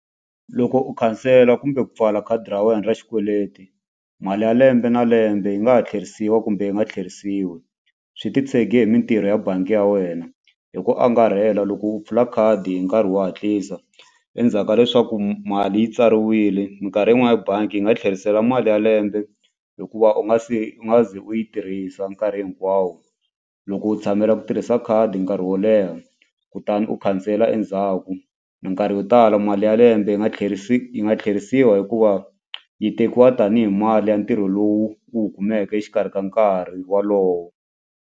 Loko u khansela kumbe ku pfala khadi ra wena ra xikweleti mali ya lembe na lembe yi nga ha tlherisiwa kumbe yi nga tlhelerisiwi swi titshege hi mitirho ya bangi ya wena. Hi ku angarhela loko u pfula khadi hi nkarhi wo hatlisa endzhaku ka leswaku mali yi tsariwile mikarhi yin'wani bangi yi nga tlherisela mali ya lembe hikuva u nga se u nga ze u yi tirhisa nkarhi hinkwawo loko u tshamela ku tirhisa khadi nkarhi wo leha kutani u khansela endzhaku mikarhi yo tala mali ya lembe yi nga yi nga tlherisiwa hikuva yi tekiwa tanihi mali ya ntirho lowu wu kumeke exikarhi ka nkarhi wolowo.